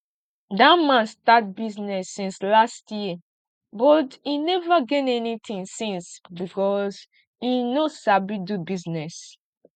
dat man start business since last year but im never gain anything since because im no sabi do business